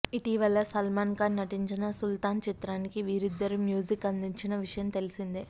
ఇటీవల సల్మాన్ ఖాన్ నటించిన సుల్తాన్ చిత్రానికి వీరద్దరూ మ్యూజిక్ అందించిన విషయం తెలిసిందే